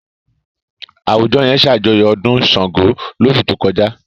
Àwùjọ yẹn ṣàjọyọ̀ ọdún Ṣàngó lóṣù tó kọjá.